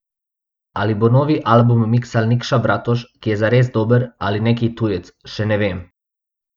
Ali bo novi album miksal Nikša Bratoš, ki je zares dober, ali neki tujec, še ne vem.